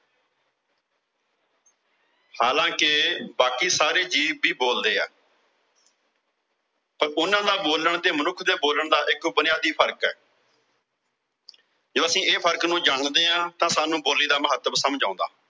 ਹਾਲਾਂਕਿ ਬਾਕੀ ਸਾਰੇ ਜੀਵ ਵੀ ਬੋਲਦੇ ਆ ਤਾਂ ਉਨ੍ਹਾਂ ਦਾ ਬੋਲਣ ਤੇ ਮਨੁੱਖ ਦੇ ਬੋਲਣ ਦਾ ਇੱਕ ਬੁਨਿਆਦੀ ਫ਼ਰਕ ਆ ਜਦੋਂ ਅਸੀਂ ਇਸ ਫਰਕ ਨੂੰ ਜਾਣਦੇ ਆਂ, ਤਾਂ ਸਾਨੂੰ ਬੋਲੀ ਦਾ ਮਹੱਤਵ ਸਮਝ ਆਉਂਦਾ।